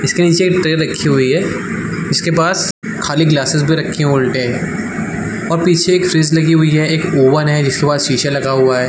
इसके नीचे एक ट्रे रखी हुई है इसके पास खाली ग्लाससेस भी रखे हुई उलटे और पीछे एक फ्रिज लगी हुई है एक ओवन है जिसके पास शीशा लगा हुआ है ।